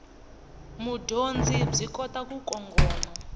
mudyondzi byi kota ku kongoma